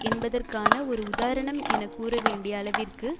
என்பதற்கான ஒரு உதாரணம் என கூற வேண்டிய அளவிற்கு